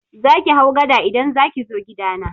Zaki hau gada idan zaki zo gidana.